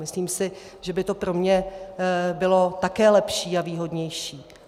Myslím si, že by to pro mě bylo také lepší a výhodnější.